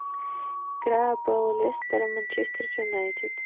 игра апл лестер и манчестер юнайтед